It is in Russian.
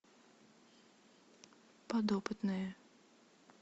подопытные